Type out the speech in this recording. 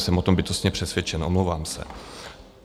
Jsem o tom bytostně přesvědčen, omlouvám se.